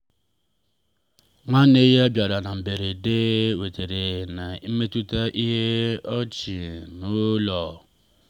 nwanne ya bịara na mberede wetara ọchị na mmetụta nke ịnọ n'ụlọ. um